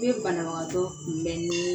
I bɛ banabagatɔ kunbɛn nii